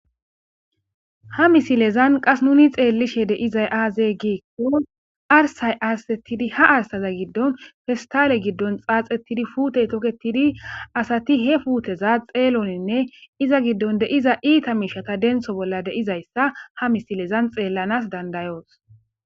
Ha misilezan qass nuni xelishe di'izays aze giko arsa arsetidi ha arsaza gidon pistale gidon xaxetidi putey toketidi asati he puteza xelonine izan gidon de'iza itta mishata denththo bolla de'iyaysa ha misilezan xeelanas danda'os.